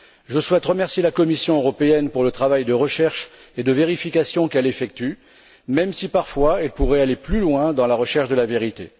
Je souhaite remercier la Commission européenne pour le travail de recherche et de vérification qu'elle effectue, même si parfois, elle pourrait aller plus loin dans la recherche de la vérité.